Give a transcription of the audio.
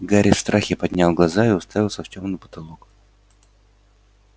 гарри в страхе поднял глаза и уставился в тёмный потолок